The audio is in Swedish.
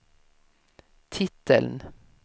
titeln